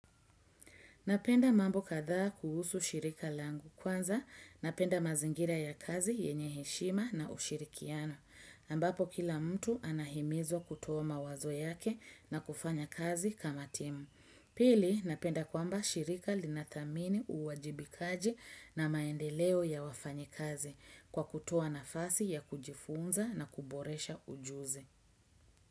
Napenda mambo kadhaa kuhusu shirika langu kwanza, napenda mazingira ya kazi yenye heshima na ushirikiano, ambapo kila mtu anahimizwa kutoa mawazo yake na kufanya kazi kama timu. Pili, napenda kwamba shirika linathamini uwajibikaji na maendeleo ya wafanyi kazi kwa kutoa nafasi ya kujifunza na kuboresha ujuzi.